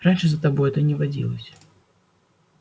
раньше за тобой это не водилось